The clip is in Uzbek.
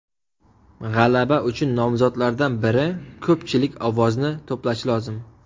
G‘alaba uchun nomzodlardan biri ko‘pchilik ovozni to‘plashi lozim.